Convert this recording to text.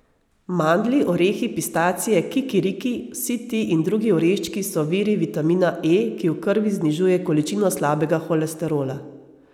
Mandlji, orehi, pistacije, kikiriki, vsi ti in drugi oreščki so viri vitamina E, ki v krvi znižuje količino slabega holesterola.